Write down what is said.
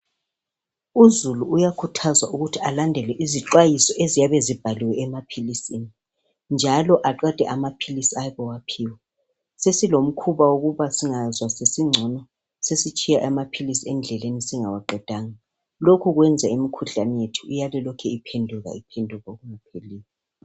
Uzulu uyakhuthazwa ukuthi alandele izixwayiso eziyabe zibhaliwe emaphilisini njalo aqede amaphilisi ayabe ewaphiwe. Sesilomkhuba wokuba singazwa sesingcono ,sesitshiya amaphilisi endleleni singawaqedanga. Lokho kwenza imikhuhlane yethu iyale ilokhu iphenduka iphenduka okungapheliyo.